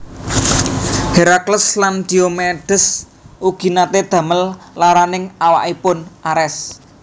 Herakles lan Diomedes ugi naté damel laraning awakipun Ares